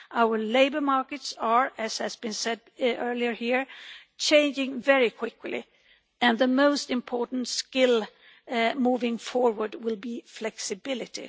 Our labour markets are, as has been said earlier here, changing very quickly, and the most important skill moving forward will be flexibility.